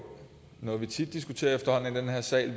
noget vi efterhånden tit diskuterer i den her sal i